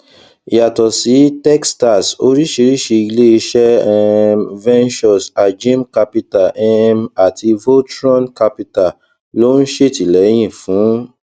yàtọ sí techstars oríṣiríṣi ilé iṣẹ um ventures ajim capital um àti voltron capital ló ń ṣètìléyìn fún